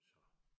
Så